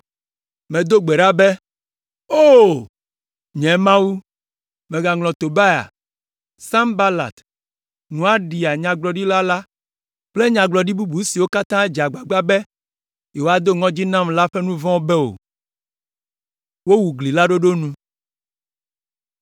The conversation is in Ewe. Medo gbe ɖa be, “O! Nye Mawu, mègaŋlɔ Tobia, Sanbalat, Noaɖia, nyagblɔɖila la kple nyagblɔɖila bubu siwo katã dze agbagba be yewoado ŋɔdzi nam la ƒe nu vɔ̃wo be o.”